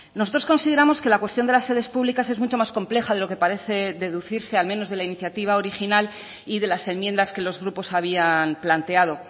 nosotros consideramos que la cuestión de las sedes públicas es mucho más compleja de lo que parece deducirse al menos de la iniciativa original y de las enmiendas que los grupos habían planteado